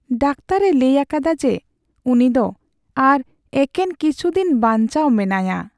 ᱰᱟᱠᱛᱟᱨᱼᱮ ᱞᱟᱹᱭ ᱟᱠᱟᱫᱟ ᱡᱮ ᱩᱱᱤ ᱫᱚ ᱟᱨ ᱮᱠᱮᱱ ᱠᱤᱪᱷᱩ ᱫᱤᱱ ᱵᱟᱧᱪᱟᱣ ᱢᱮᱱᱟᱭᱟ ᱾